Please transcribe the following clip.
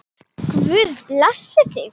Guð blessi þig.